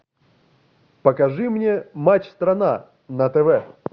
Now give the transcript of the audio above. покажи мне матч страна на тв